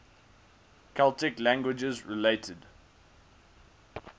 celtic languages related